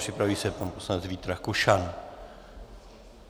Připraví se pan poslanec Vít Rakušan.